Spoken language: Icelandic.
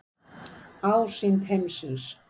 Ásýnd heimsins.